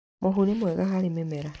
Mũhu nĩ mwega harĩ mĩmera.